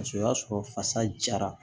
Paseke o y'a sɔrɔ fasa jara